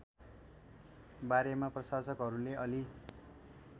बारेमा प्रशासकहरूले अलि